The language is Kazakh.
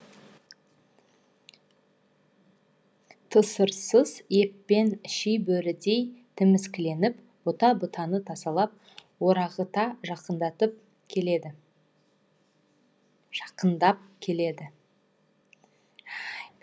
тысырсыз еппен ши бөрідей тіміскіленіп бұта бұтаны тасалап орағыта жақыңдап келеді